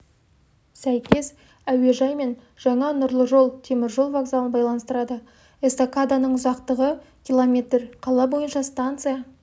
сәйкес әуежай мен жаңа нұрлы жол теміржол вокзалын байланыстырады эстакаданың ұзақтығы км қала бойынша станция